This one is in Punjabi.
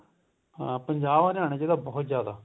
ਹਾਂ ਪੰਜਾਬ ਹਰਿਆਣੇ ਚ ਬਹੁਤ ਜਿਆਦਾ